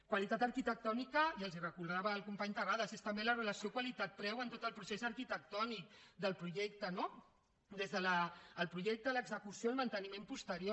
qualitat arquitectònica i els ho recordava el company terrades és també la relació qualitat preu en tot el procés arquitectònic del projecte no des del projecte a l’execució al manteniment posterior